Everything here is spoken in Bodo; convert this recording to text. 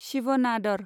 शिव नादर